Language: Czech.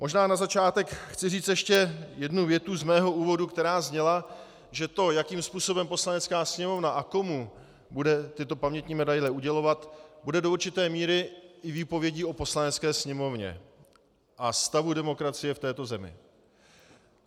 Možná na začátek chci říct ještě jednu větu z mého úvodu, která zněla, že to, jakým způsobem Poslanecká sněmovna a komu bude tyto pamětní medaile udělovat, bude do určité míry i výpovědí o Poslanecké sněmovně a stavu demokracie v této zemi.